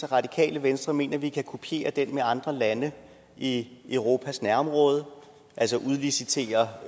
radikale venstre mener at vi kan kopiere den til andre lande i europas nærområde altså udlicitere